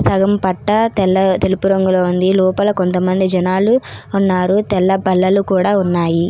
సగం పట్టా తెల్ల-తెలుపు రంగులో ఉంది. లోపల కొంతమంది జనాలు ఉన్నారు. తెల్ల బల్లలు కూడా ఉన్నాయి.